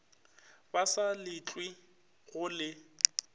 ba sa letlwe go le